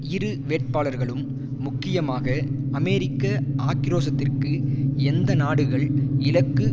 இரு வேட்பாளர்களும் முக்கியமாக அமெரிக்க ஆக்கிரோஷத்திற்கு எந்த நாடுகள் இலக்கு